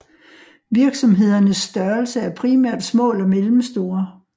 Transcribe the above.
Virksomhedernes størrelse er primært små eller mellemstore